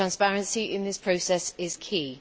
Transparency in this process is key.